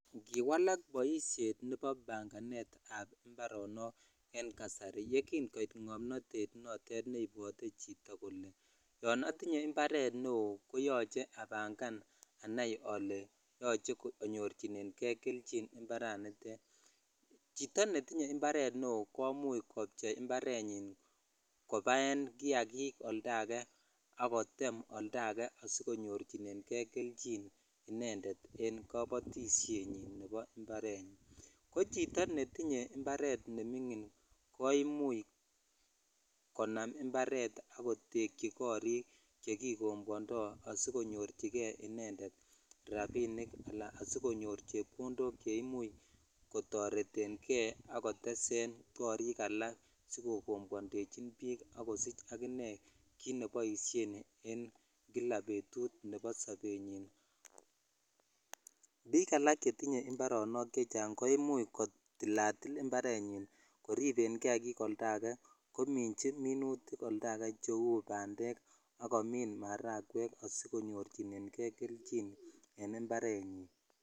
Kiwalaak boisheet nebo banganeet ab imbaronook en kasari yegiin koiit ng'omnoteet noteet neibwote chito kole yoon otinye imbareet neoo koyoche abangaan anaai kole yoche anyorchinegee kelchiin imbaraniteet, chito netinye imbareet neoo komuch kopche imbareet nyiin kobaeen kiyakiik oldo agee ak koteem oldo ageee asigonyorchinegee kelchiin inendeet en kobotisheet nyiin nebo imbarenyiin, ko chito netinye imbareet nemingin koimuuch konaam imbareet ak kotekyi koriik yegigomboandoo asigonyoorchigee inendeet rabinik alaan asigonyor chepkondook cheimuch kotoretengee ak koteseen korrik alaak sigogon kwoldechin biik ak kosiich aginee kiit neboisheen en kila betuut nebo sobenyiin, biik alaak chetinye imbareniik chechang koimuuch kotilatil imbarenyiin, koribeen kiagiik oldo age ominchi minuutik oldo age cheeu bandeek ak komiin marakweek asikonyoor chinegee kelchiin en imbarenyiin.